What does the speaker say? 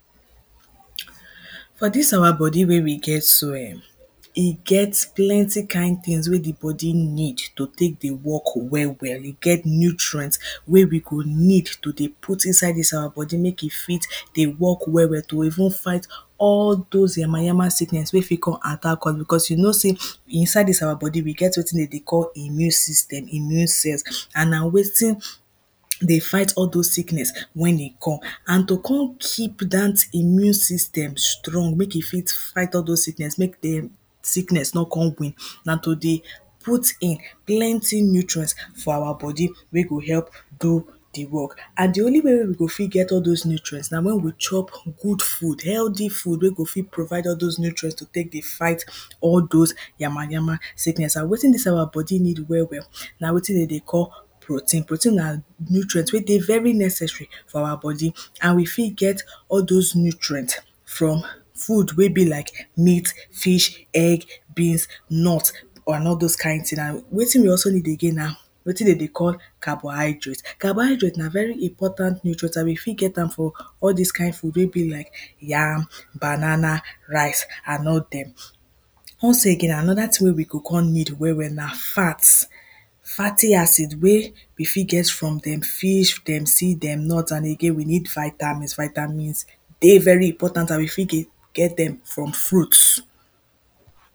for dis awa body wey we get so em, e get plenty kind tings wey the body need to tek dey work well well, e get nutrient, wey we go need to dey put inside dis awa body mek e fit dey work well well to even fight all dose yama yama sickness wey fit come attack us because you know sey, inside dis awa body, we get wetin dem dey call immune system, immune cells, and na wetin dey fight all dose sickness wen e come. and to come keep dat immune system strong mek e fit fight all dose sickness mek dem sickness no con win, na to dey, put in plenty nutrients for awa body, wey go help do the work. and the only way wey we go fit get all dose nutrients na wen we chop good food, healthy food wey go fit provide all dose nutrients to tek dey fight all dose yama yama, sickness and wetin dis awa body need well well na wetin dem dey call, protein. protein na nutrient wey dey very necessary for awa body. and we fit get all dose nutrient from food wey be like: meat, fish, egg, beans, nut, and all dose kind ting na, wetin we also need again na, wetin de dey call, carbohydrate. carbohydrate na very important nutrient and we fit get am from, all dis kind food wey be like: yam, banana, rice, and all dem. also again another ting wey we go con need well well na fats. fatty acid wey, we fit get from dem fish, dem seed, dem nut, and again we need vitamins, vitamins A very important and we fit get get dem from fruits.